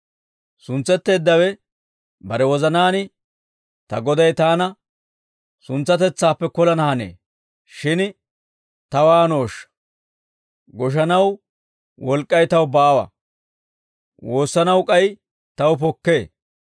«Suntsetteeddawe bare wozanaan, ‹Ta goday taana suntsatetsaappe kolana hanee; shin ta waanooshsha? Goshanaw wolk'k'ay taw baawa; woossanaw k'ay taw pokkee.